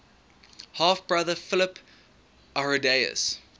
half brother philip arrhidaeus